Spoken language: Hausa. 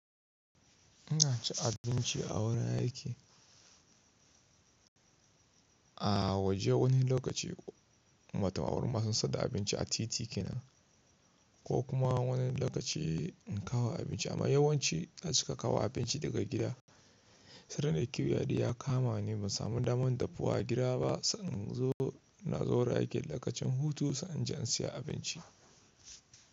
Ina ci abinci a wurin aiki. A waje wani lokaci matalauwar masu siyar da abinci a titika na ko kuma wani lokaci in kawo abinci amma yawanci na cika kawo abinci daga gida. Sai ran da kiwiya di ya kama ni ban samu damar dafuwa gida ba, sannan in zo na zo wurin aiki lokacin hutu sannan jiya in siya abinci.